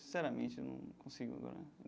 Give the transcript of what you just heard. Sinceramente, eu não consigo agora.